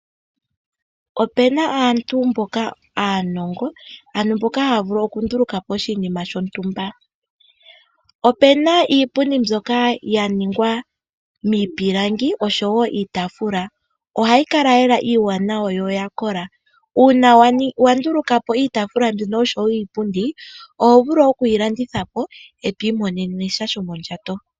Opena aantu mboka aanongo, mbono haya vulu okunduluka po oshinima shontumba. Opena iipundi ndyoka yaningwa miipilangi oshowo iitaafula ohayi kala lela iiwanawa yo oya kola. Uuna yandulukwapo ohayi vulu okulandithwa po eto imonenesha shomondjato.